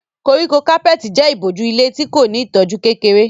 Koríko kápẹ́ẹ̀tì jẹ́ ìbòjú ilẹ̀ tí kò ní ìtọ́jú kékeré.